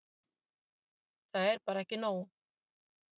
Það er bara ekki nóg.